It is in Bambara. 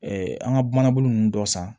an ka manabunnunnu dɔ san